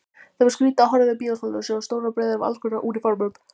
Það var skrýtið að horfa yfir bíósalina og sjá stórar breiður af allskonar úniformum.